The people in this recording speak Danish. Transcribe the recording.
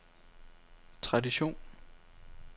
tradition